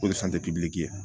O ye ye